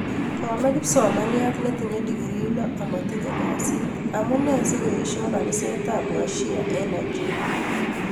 Komee kipsomaniat netiche degree loo amatiche kasiit. Amunee keeshoo kaniset ab washia eng nigeria